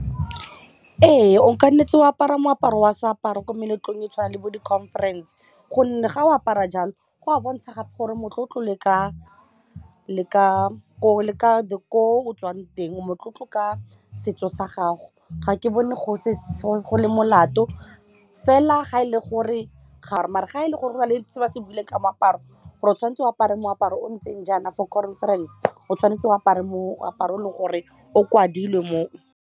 Ee, o kannetse wa apara moaparo wa seaparo ko meletlong e tshwana le bo di-conference gonne ga o apara jalo go a bontsha gape gore motlotlo le ka gore o tswang teng motlotlo ka setso sa gago ga ke bone go le molato fela ga e le gore gare mare ga e le gore go na le se ba se buile ka moaparo gore o tshwanetse o apare moaparo o ntseng jaana for conference o tshwanetse o apare moaparo o leng gore o kwadilwe mo.